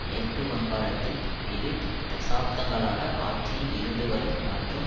மேற்கு வங்காளத்தில் இரு தசாப்தங்களாக ஆட்சியில் இருந்து வரும் மற்றும்